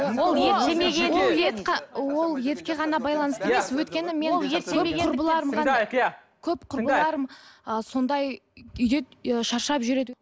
ол етке ғана байланысты емес өйткені мен көп құрбыларым ы сондай шаршап жүреді